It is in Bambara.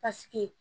Paseke